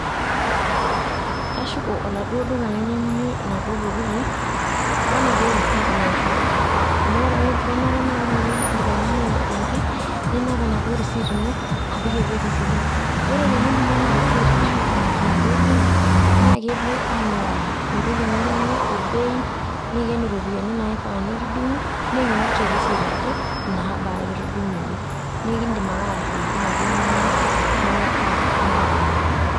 Kashuko oladuo duka lainyang'unye inaduo tokiting',wenaduo risiit naishooki. Amu wore ake kenare na wore ake pe iidip ainyang'u intokitin, ninap enaduo risiit ino apik ewueji sidai. Ore tenidumu ena risiit ashuk oladuo duka, na kepuo aing'uraa entoki ninyang'ua o bei, niken iropiyiani naifaa nikidung'u, neing'or te risiit ajo inabaa kitudung'uoki. Nekiidim ake atushukoki naduo inonok nimifaa nikidung'u.